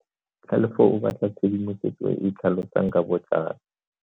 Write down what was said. Tlhalefo o batla tshedimosetso e e tlhalosang ka botlalo.